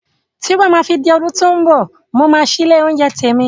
Tí ó bá máa fi di ọdún tó mbọ̀, mo máa ṣí ilé oúnjẹ tèmi